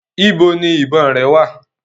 Ibo ni ìbọn rẹ wà?